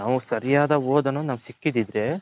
ನಾವು ಸರಿಯಾದ ಓದೂ ಸಿಕ್ಕಿದಿದ್ರೆ